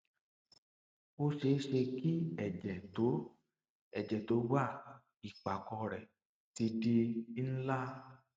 ó ṣeé ṣe kí ẹjẹ tó ẹjẹ tó wà ìpàkọ rẹ ti di ńlá